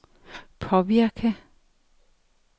påvirke